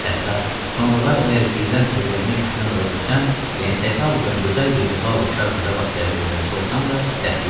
Hətta sonralar əgər birdən evlənmək fikrinə zada düşsəm, yəni təsadüfən gözəl bir lal kar qıza rast gəlib evlənsə olsam da dəxli yoxdur.